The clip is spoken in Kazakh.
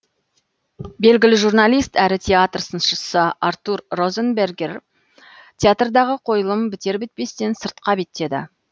белгілі журналист әрі театр сыншысы артур розенбергер театрдағы қойылым бітер бітпестен сыртқа беттеді